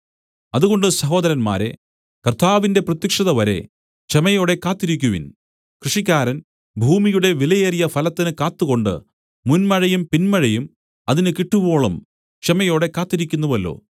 അതുകൊണ്ട് സഹോദരന്മാരേ കർത്താവിന്റെ പ്രത്യക്ഷതവരെ ക്ഷമയോടെ കാത്തിരിക്കുവിൻ കൃഷിക്കാരൻ ഭൂമിയുടെ വിലയേറിയ ഫലത്തിന് കാത്തുകൊണ്ട് മുന്മഴയും പിന്മഴയും അതിന് കിട്ടുവോളം ക്ഷമയോടെ കാത്തിരിക്കുന്നുവല്ലോ